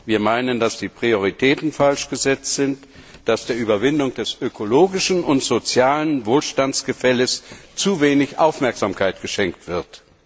Wir meinen, dass die Prioritäten falsch gesetzt sind, dass der Überwindung des ökologischen und sozialen Wohlstandsgefälles zu wenig Aufmerksamkeit geschenkt wird.